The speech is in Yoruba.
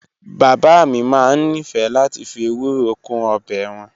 Bàbá mi máa ń nífẹ̀ẹ́ láti fi ewuro kún ọbẹ̀ wọn